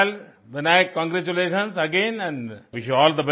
well Vinayak congratulations again and wish you all